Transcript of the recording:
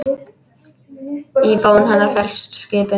Í bón hennar felst skipun.